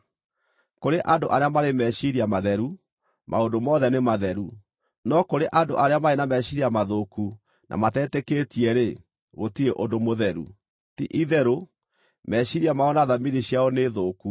Kũrĩ andũ arĩa marĩ meciiria matheru, maũndũ mothe nĩ matheru, no kũrĩ andũ arĩa marĩ na meciiria mathũku na matetĩkĩtie-rĩ, gũtirĩ ũndũ mũtheru. Ti-itherũ, meciiria mao na thamiri ciao nĩ thũku.